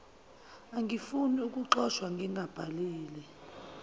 angifuni ukuxoshwa ngingazibhalile